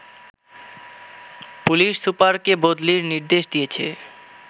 police সুপারকে বদলির নির্দেশ দিয়েছে